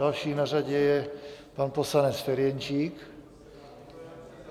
Další na řadě je pan poslanec Ferjenčík.